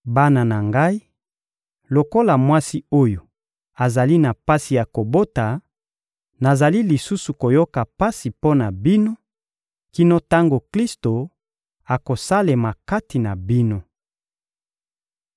Bana na ngai, lokola mwasi oyo azali na pasi ya kobota, nazali lisusu koyoka pasi mpo na bino, kino tango Klisto akosalema kati na bino.